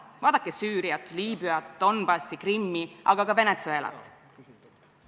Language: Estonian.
Vaadake Süüriat, Liibüat, Donbassi, Krimmi, aga ka Venezuelat.